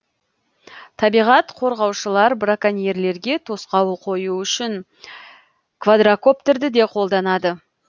табиғат қорғаушылар браконьерлерге тосқауыл қою үшін квадрокоптерді де қолданады